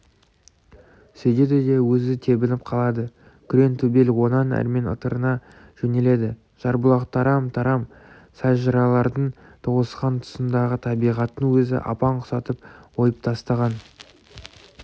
сөйдейді де өзі тебініп қалады күреңтөбел онан әрмен ытырына жөнеледі жарбұлақтарам-тарам сай-жыралардың тоғысқан тұсындағы табиғаттың өзі апан құсатып ойып тастаған